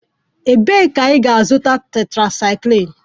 Ebee ka ị ga-azụta tetrasaikilin?